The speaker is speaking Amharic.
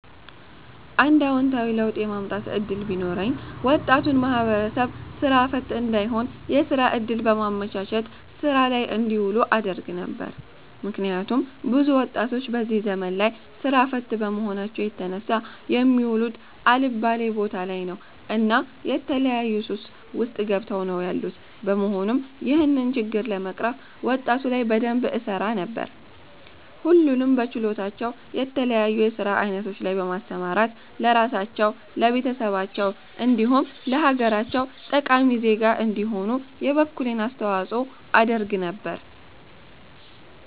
አንድ አወንታዊ ለውጥ የማምጣት እድል ቢኖረኝ ወጣቱን ማህበረሰብ ስራ ፈት እንዳይሆን የስራ እድል በማመቻቸት ስራ ላይ እንዲውሉ አደርግ ነበር። ምክንያቱም ብዙ ወጣቶች በዚህ ዘመን ላይ ስራ ፈት በመሆናቸው የተነሳ የሚውሉት አልባሌ ቦታ ላይ ነው እና የተለያዩ ሱስ ውስጥ ገብተው ነው ያሉት በመሆኑም ይህንን ችግር ለመቅረፍ ወጣቱ ላይ በደንብ እሰራ ነበር። ሁሉንም በችሎታቸው የተለያዩ የስራ አይነቶች ላይ በማሰማራት ለራሳቸው፣ ለቤተሰባቸው እንዲሁም ለሀገራቸው ጠቃሚ ዜጋ እንዲሆኑ የበኩሌን አስተዋፅኦ አደርግ ነበር